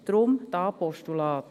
Deshalb: hier Postulat.